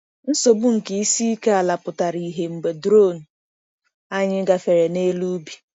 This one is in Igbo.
Nsogbu nke isi ike ala pụtara ìhè mgbe drone anyị gafere n’elu ubi.